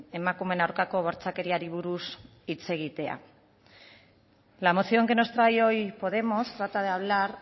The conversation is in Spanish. emakumeen aurkako bortxakeriari buruz hitz egitea la moción que nos trae hoy podemos trata de hablar